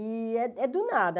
E é é do nada.